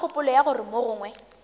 ka kgopolo ya gore mogongwe